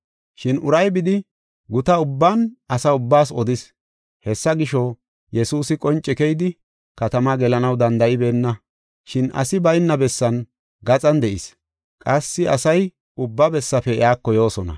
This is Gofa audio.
Shin uray bidi, guta ubban asa ubbaas odis. Hessa gisho, Yesuusi qonce keyidi, katama gelanaw danda7ibeenna. Shin asi bayna bessan gaxan de7is; qassi asay ubba bessafe iyako yoosona.